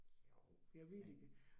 Jo, men